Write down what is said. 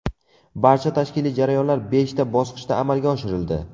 Barcha tashkiliy jarayonlar beshta bosqichda amalga oshirildi.